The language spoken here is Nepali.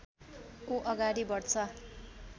ऊ अगाडि बढ्छ